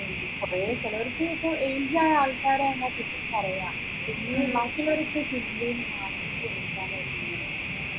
കുറെ ചിലവർക്ക് age ആയ ആൾക്കാരാണ് ഇത് പറയാ ബാക്കിയുള്ളവരൊക്കെ ചിന്തയെ മാറി